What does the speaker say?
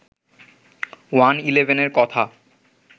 one ইলেভেনের কথা